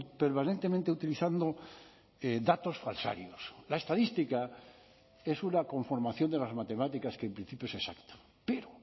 permanentemente utilizando datos falsarios la estadística es una conformación de las matemáticas que en principio es exacta pero